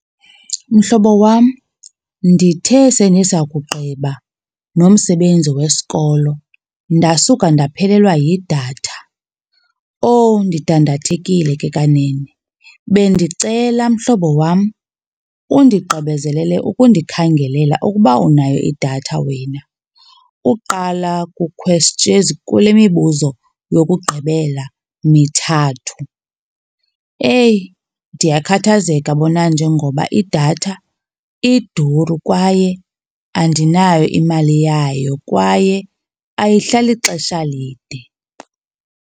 Mhlobo wam, ndithe sendiza kugqiba nomsebenzi wesikolo ndasuka ndaphelelwa yidatha. Owu, ndidandathekile ke kanene! Bendicela mhlobo wam undigqibezelele ukundikhangelela ukuba unayo idatha wena uqala ezi, kule mibuzo yokugqibela mithathu. Eyi, ndiyakhathazeka bona nje ngoba idatha iduru kwaye andinayo imali yayo, kwaye ayihlali xesha lide.